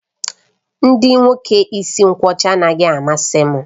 Ndị nwoke isi nkwọcha anaghị amasị m